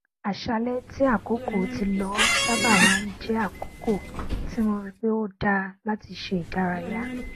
àṣálẹ tí àkókò ti lọ sábà má n jẹ àkókò tí mo rí pe ó dá láti ṣe ìdárayá